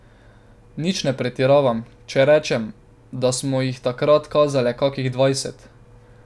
Nič ne pretiravam, če rečem, da smo jih takrat kazale kakih dvajset.